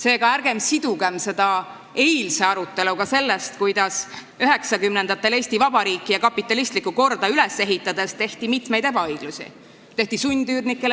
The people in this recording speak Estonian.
Seega, ärgem sidugem seda eilse aruteluga sellest, kuidas 1990-ndatel Eesti Vabariiki ja kapitalistlikku korda üles ehitades mitmeid ebaõiglusi tehti.